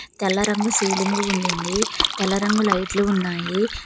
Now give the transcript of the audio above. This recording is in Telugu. తెల్ల రంగు సీలింగు వండింది తలరంగు లైట్లు ఉన్నాయి.